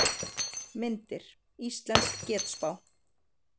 Myndir: Íslensk getspá.